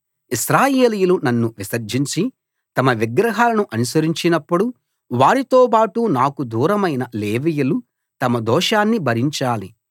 ఇశ్రాయేలీయులు నన్ను విసర్జించి తమ విగ్రహాలను అనుసరించినప్పుడు వారితోబాటు నాకు దూరమైన లేవీయులు తమ దోషాన్ని భరించాలి